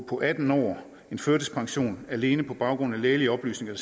på atten år førtidspension alene på baggrund af lægelige oplysninger